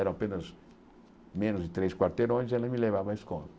eram apenas menos de três quarteirões, e ela me levava à escola.